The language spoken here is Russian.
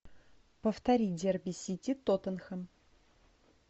повтори дерби сити тоттенхэм